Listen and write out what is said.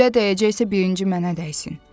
Güllə dəyəcəksə, birinci mənə dəysin.